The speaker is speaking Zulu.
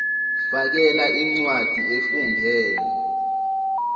fakela incwadi efungelwe